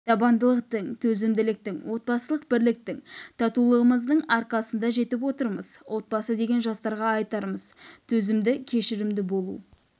табандылықтың төзімділіктің отбасылық бірліктің татулығымыздың арқасында жетіп отырмыз отбасы дегенде жастарға айтарымыз төзімді кешірімді болу